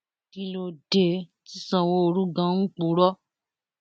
kí ló dé tí sanwóoru ganan ń purọ